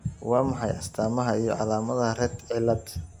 Waa maxay astamaha iyo calaamadaha Rett cilad?